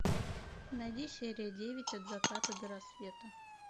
найди серия девять от заката до рассвета